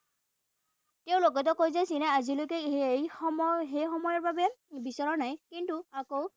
তেওঁ লগতে কয় যে চীনে আজিলৈকে এই সময় সেই সময়ৰ বাবে বিছৰা নাই। কিন্তু আকৌ